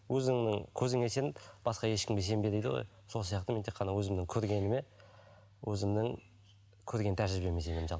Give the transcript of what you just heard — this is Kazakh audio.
өзіңнің көзіңе сен басқа ешкімге сенбе дейді ғой сол сияқты мен тек қана өзімнің көргеніме өзімнің көрген тәжірибеме сенемін